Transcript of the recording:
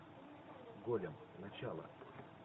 голем начало